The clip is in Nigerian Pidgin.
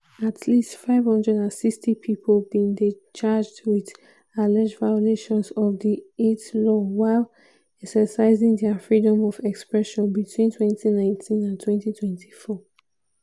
at least 560 pipo bin dey charged wit alleged violations of di eit law while exercising dia freedom of expression between 2019 and 2024.